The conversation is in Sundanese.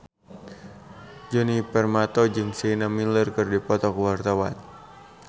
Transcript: Djoni Permato jeung Sienna Miller keur dipoto ku wartawan